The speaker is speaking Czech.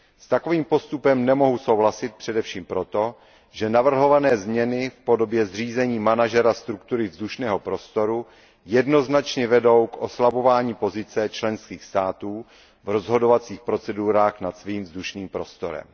S takovým postupem nemohu souhlasit především proto, že navrhované změny v podobě zřízení manažera struktury vzdušného prostoru jednoznačně vedou k oslabování pozice členských států v rozhodovacích procedurách nad svým vzdušným prostorem.